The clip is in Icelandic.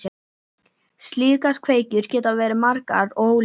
Slíkar kveikjur geta verið margar og ólíkar.